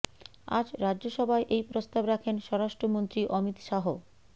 আজ রাজ্যসভায় এই প্রস্তাব রাখেন স্বরাষ্ট্র মন্ত্রী অমিত শাহ